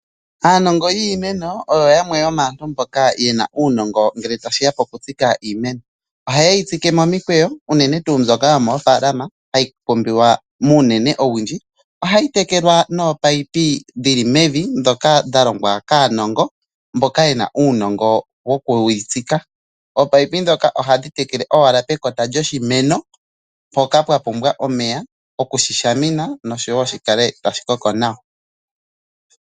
Aanongo yiimeno oyo yamwe yomaantu mboka yena uunongo ngele tashiya poku dhika iimeno, oha yeyi tsike momikwewo unene tu mbyoka yomo falama hayi pumbiwa muunene owundji. Ohayi tekelwa nopaipi dhili mevi dhoka dha longwa kaanongo mboka yena uunongo woku yi tsika. Oopaipi dhoka ohadhi tekele owala pekota lyoshimeno mpoka pwa pumbwa omeya okushi shamina noshowo shi kale tashi koko nawa.